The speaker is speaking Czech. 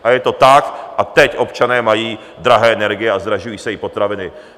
A je to tak a teď občané mají drahé energie a zdražují se i potraviny.